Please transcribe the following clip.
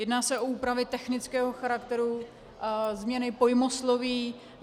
Jedná se o úpravy technického charakteru, změny pojmosloví.